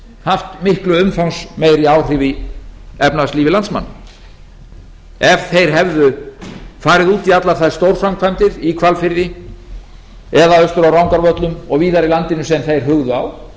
haft miklu umfangsmeiri áhrif í efnahagslífi landsmanna ef þeir hefðu farið út í allar þær stórframkvæmdir í hvalfirði eða austur á rangárvöllum og víðar í landinu sem þeir hugðu á